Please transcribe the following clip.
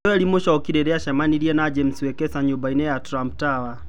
Joel Muchoki rĩrĩa acemanirie na James Wekesa nyũmba-inĩ ya Trump Tower.